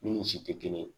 Nun si tɛ kelen ye